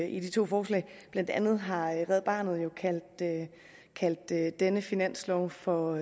i de to forslag blandt andet har red barnet jo kaldt kaldt denne finanslov for